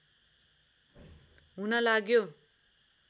हुन लाग्यो